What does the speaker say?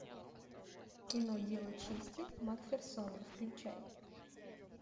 кино дело чести макферсона включай